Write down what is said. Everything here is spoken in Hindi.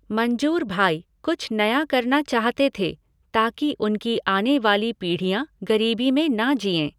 मंजूर भाई कुछ नया करना चाहते थे ताकि उनकी आने वाली पीढ़ियाँ गरीबी में ना जिए।